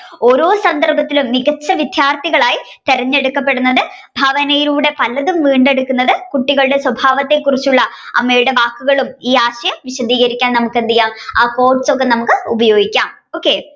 ഓരോ സന്ദർഭത്തിലും മികച്ച വിദ്യാർത്ഥികളായി തിരഞ്ഞെടുക്കപ്പെടുന്നത് ഭാവനയിലൂടെ പലതും വീണ്ടെടുക്കുന്നത് കുട്ടികളുടെ സ്വഭാവത്തെ കുറിച്ചുള്ള അമ്മയുടെ വാക്കുകളും ഈ ആശയം വിശദികരിക്കാൻ നമ്മുക് എന്തെയാം ആ quotes ഒക്കെ നമ്മുക്ക് ഉപയോഗിക്കാം okay